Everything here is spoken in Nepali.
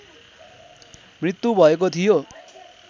मृत्यु भएको थियो